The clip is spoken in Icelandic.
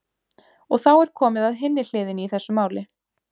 Og þá er komið að hinni hliðinni í þessu máli.